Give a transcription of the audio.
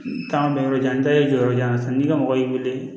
N taama bɛ yɔrɔ jan n ta y'i jɔyɔrɔ jan ta n'i ka mɔgɔ y'i wele